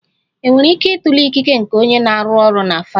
Enwere ike ịtụle ikike nke onye na-arụ ọrụ na Farads.